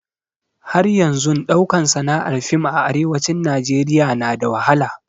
Har yanzun ɗaukan sana'ar fiim a arewacin Najeriya na da wahala